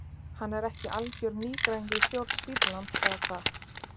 Hann er ekki algjör nýgræðingur í stjórn spítalans eða hvað?